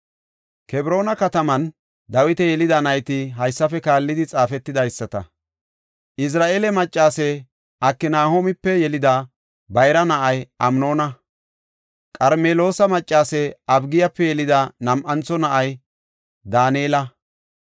Kebroona kataman Dawiti yelida nayti haysafe kaallidi xaafetidaysata; Izira7eele maccase Aknahoomipe yelida bayra na7ay Amnoona. Qarmeloosa maccase Abigiyape yelida nam7antho na7ay Daanela.